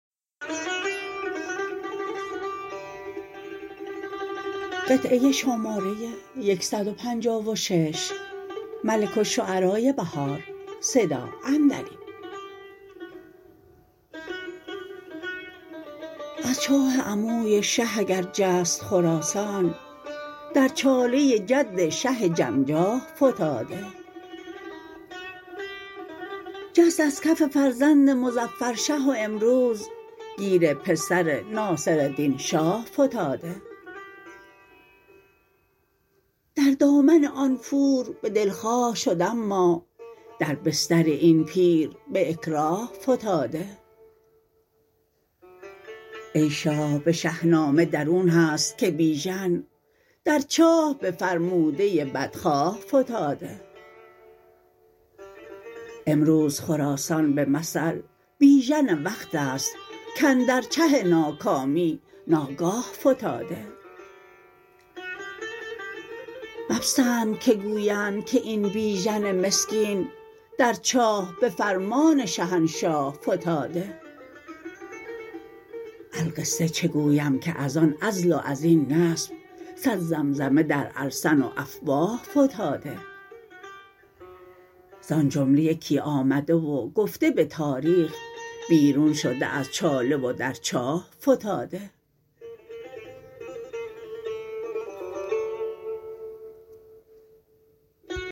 از چاه عموی شه اگر جست خراسان در چاله جد شه جمجاه فتاده جست ازکف فرزند مظفرشه و امروز گیر پسر ناصر دین شاه فتاده در دامن آن پور به دلخواه شد اما در بستر این پیر به اکراه فتاده ای شاه به شهنامه درون هست که بیژن در چاه به فرموده بدخواه فتاده امروز خراسان به مثل بیژن وقت است کاندر چه ناکامی ناگاه فتاده مپسند که گویند که این بیژن مسکین در چاه به فرمان شهنشاه فتاده القصه چه گویم که از آن عزل و ازبن نصب صد زمزمه در السن و افواه فتاده زان جمله یکی آمده و گفته به تاریخ بیرون شده از چاله و در چاه فتاده